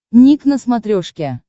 ник на смотрешке